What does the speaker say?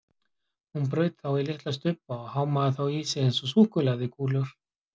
Hún braut þá í litla stubba og hámaði þá í sig eins og súkkulaðikúlur.